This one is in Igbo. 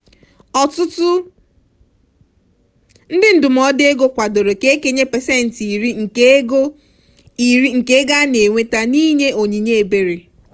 ọtụtụ ndị ndụmọdụ ego kwadoro ka e kenye pasentị iri nke ego iri nke ego a na-enweta n'inye onyinye ebere.